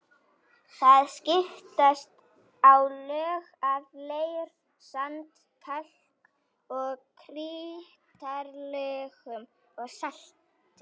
Þar skiptast á lög af leir-, sand-, kalk- og krítarlögum og salti.